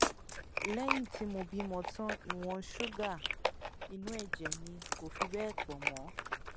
lẹyìn tí mo bímọ tán ìwọn ṣúgà inú ẹjẹ mi kò fi bẹẹ pọ mọ